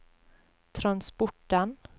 transporten